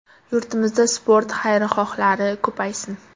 Yurtimizda sport xayrixohlari ko‘paysin!.